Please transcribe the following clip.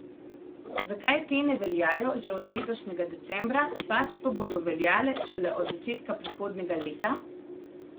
Zakaj te ne veljajo že od letošnjega decembra, pač pa bodo veljale šele od začetka prihodnjega leta?